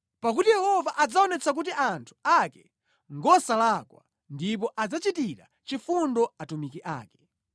Pakuti Yehova adzaonetsa kuti anthu ake ngosalakwa, ndipo adzachitira chifundo atumiki ake.